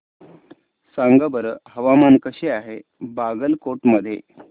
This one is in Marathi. सांगा बरं हवामान कसे आहे बागलकोट मध्ये